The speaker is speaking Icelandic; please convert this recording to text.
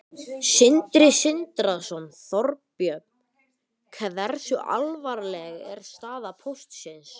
Sindri Sindrason: Þorbjörn, hversu alvarleg er staða Póstsins?